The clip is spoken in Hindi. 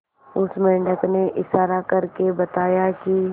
उस मेंढक ने इशारा करके बताया की